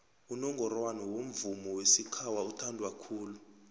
unongorwana womvomo wesikhawa uthandwa khulu